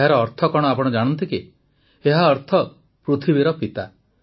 ଏହାର ଅର୍ଥ କଣ ଆପଣ ଜାଣନ୍ତି କି ଏହାର ଅର୍ଥ ପୃଥିବୀର ପିତା